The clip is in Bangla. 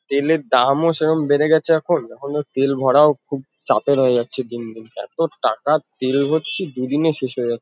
তেলের দামও সেরম বেড়ে গেছে এখন। এখন আর তেল ভরাও খুব চাপের হয়ে যাচ্ছে দিন দিন। এতো টাকার তেল ভরছি দুদিনে শেষ হয়ে যা --